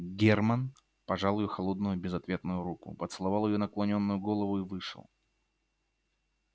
германн пожал её холодную безответную руку поцеловал её наклонённую голову и вышел